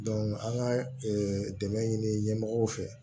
an ka dɛmɛ ɲini ɲɛmɔgɔw fɛ